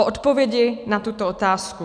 O odpovědi na tuto otázku.